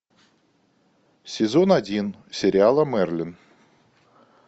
сезон один сериала мерлин